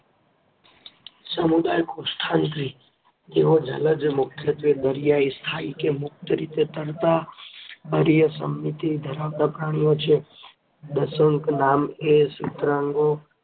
સમુદાય-કોષ્ઠાંત્રિ તેઓ જલજ, મુખ્યત્વે દરિયાઈ, સ્થાયી કે મુક્ત રીતે તરતા, અરીય સમમિતિ ધરાવતા પ્રાણીઓ છે. દેશક નામ એ સુત્રાંગો